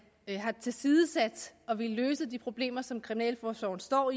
har tilsidesat at ville løse de problemer som kriminalforsorgen står